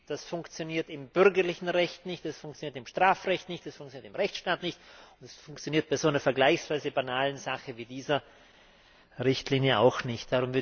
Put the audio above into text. Das funktioniert im bürgerlichen Recht nicht, es funktioniert im Strafrecht nicht, es funktioniert im Rechtsstaat nicht, und es funktioniert bei so einer vergleichsweise banalen Sache wie dieser Richtlinie auch nicht.